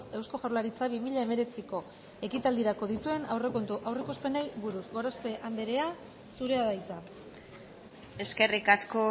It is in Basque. eusko jaurlaritzak bi mila hemeretziko ekitaldirako dituen aurrekontu aurreikuspenei buruz gorozpe anderea zurea da hitza eskerrik asko